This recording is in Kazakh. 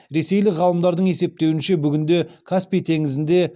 ресейлік ғалымдардың есептеуінше бүгінде каспий теңізінде